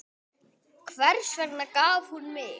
Hvers vegna gaf hún mig?